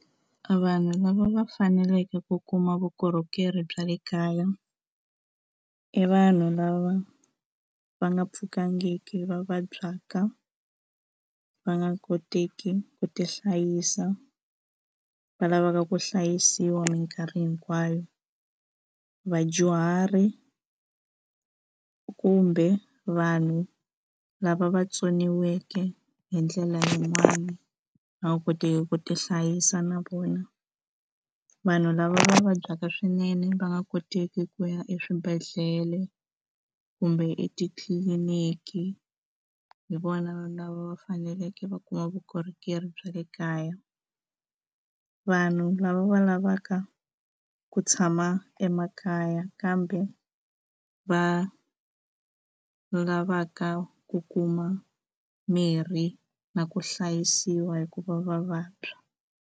A vanhu lava va faneleke ku kuma vukorhokeri bya le kaya i vanhu lava va nga pfukangiki va vabyaka va nga koteki ku tihlayisa va lavaka ku hlayisiwa minkarhi hinkwayo vadyuhari kumbe vanhu lava va tsoniweke hi ndlela yin'wani va nga kotiki ku ti hlayisa na vona vanhu lava vabyaka swinene va nga koteki ku ya eswibedhlele kumbe etitliliniki hi vona lava va faneleke va kuma vukorhokeri bya le kaya vanhu lava va lavaka ku tshama emakaya kambe va lavaka ku kuma mirhi na ku hlayisiwa hikuva va vabya.